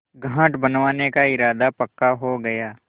घाट बनवाने का इरादा पक्का हो गया